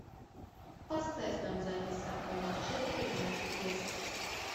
поставь нам запись апл манчестер юнайтед лестер